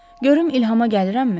Görüm ilhama gəlirəmmi?